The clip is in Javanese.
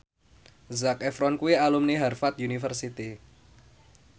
Zac Efron kuwi alumni Harvard university